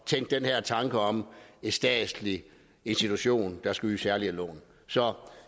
tænke den her tanke om en statslig institution der skal yde særlige lån så